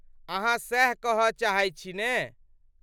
अहाँ सैह कहय चाहैत छी ने?